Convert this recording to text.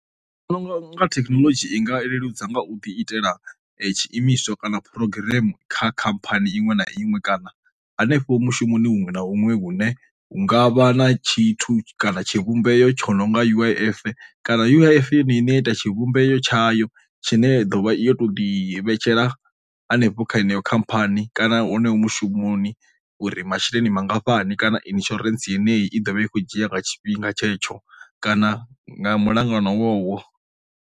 Ndi vhona unga thekinoḽodzhi i nga leludza nga u ḓi itela tshiimiswa kana phurogireme kha khamphani iṅwe na iṅwe kana hanefho mushumoni huṅwe na huṅwe hune hungavha na tshithu kana tshivhumbeo tsho nonga U_I_F, kana U_I_F yo no ine ya ita tshivhumbeo tshayo tshine ya ḓovha yo to ḓi vhetshela hanefho kha yeneyo khamphani kana hone hu mushumoni uri masheleni mangafhani kana insurance yeneyi i ḓovha i khou dzhia nga tshifhinga tshetsho kana nga mulangano wowo.